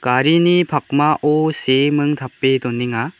garini pakmao seeming tape donenga.